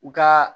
U ka